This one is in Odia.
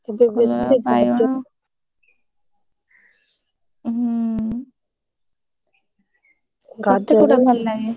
କଲରା, ବାଇଗଣ ହୁଁ ତତେ କୋଉଟା ଭଲ ଲାଗେ?